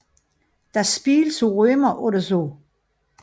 Das Spiel zu Römer oder so